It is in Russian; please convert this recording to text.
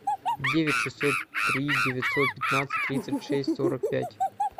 девять шестьсот три девятьсот пятнадцать тридцать шесть сорок пять